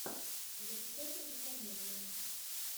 запускай трагикомедию